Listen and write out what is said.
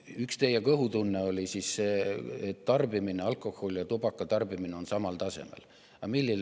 Üks teie kõhutunne oli see, et alkoholi ja tubaka tarbimine on samal tasemel.